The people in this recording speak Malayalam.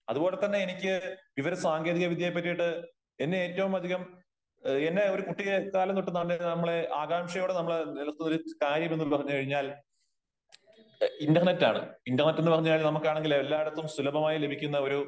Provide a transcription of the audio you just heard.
അത്പോലെ തന്നെ എനിക്ക് വിവര സാങ്കേതിക വിദ്യയെ പറ്റിയിട്ട് എന്നെ ഏറ്റവും അതികം എന്നെ ഒരു കുട്ടിക്കാലം തൊട്ട് നമ്മള് ആകാംക്ഷയോടെ നമ്മള് നിലനിന്നിരുന്ന കാര്യം ഉള്ളതെന്ന് പറഞ്ഞു കഴിഞ്ഞാൽ ഇന്റർനെറ്റ് ആണ്. ഇന്റർനെറ്റ് എന്ന് പറഞ്ഞു കഴിഞ്ഞാൽ നമുക്ക് ആണെങ്കിൽ എല്ലായിടത്തും സുലഭമായി ലഭിക്കുന്ന